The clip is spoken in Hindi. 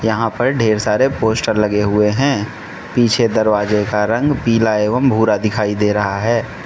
यहां पर ढेर सारे पोस्टर लगे हुए हैं पीछे दरवाजे का रंग पीला एवं भुरा दिखाई दे रहा है।